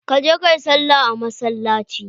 Ka je kayi salla a masallaci.